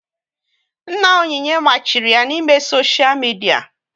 Nna Onyinye machiri ya na ị mee soshia midia